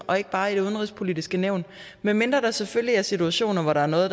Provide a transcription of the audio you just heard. og ikke bare i udenrigspolitisk nævn medmindre selvfølgelig er situationer hvor der er noget